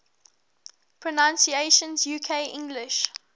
pronunciations uk english